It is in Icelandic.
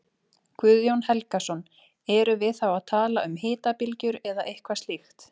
Guðjón Helgason: Erum við þá að tala um hitabylgjur eða eitthvað slíkt?